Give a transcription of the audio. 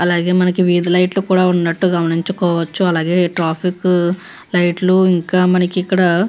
అలాగే మనకి వీధి లైట్లు కూడా ఉన్నట్టు గమనించుకోవచ్చు అలాగే ఇక్కడ ట్రాఫిక్ లీఘటస్ ఇంకా మనకి ఇక్కడ --